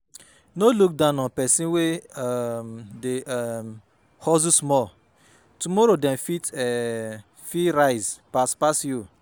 No look down on persin wey um dey um hustle small tomorrow dem um fit rise pass pass you